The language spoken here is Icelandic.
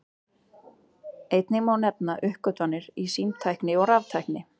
Einnig má nefna uppgötvanir í símtækni og raftækni.